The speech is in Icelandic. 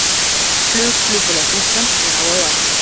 Flug Flugfélags Íslands er á áætlun